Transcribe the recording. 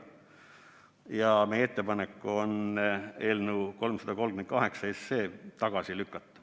Ja meie ettepanek on eelnõu 338 tagasi lükata.